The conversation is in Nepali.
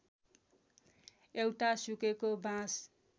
एउटा सुकेको बाँस